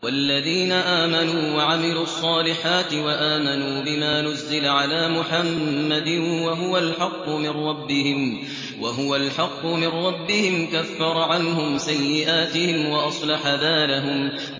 وَالَّذِينَ آمَنُوا وَعَمِلُوا الصَّالِحَاتِ وَآمَنُوا بِمَا نُزِّلَ عَلَىٰ مُحَمَّدٍ وَهُوَ الْحَقُّ مِن رَّبِّهِمْ ۙ كَفَّرَ عَنْهُمْ سَيِّئَاتِهِمْ وَأَصْلَحَ بَالَهُمْ